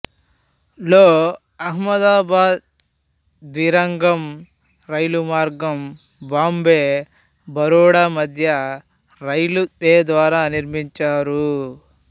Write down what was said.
లో అహ్మదాబాద్విరాంగం రైలు మార్గము బాంబే బరోడా మధ్య రైల్వే ద్వారా నిర్మించారు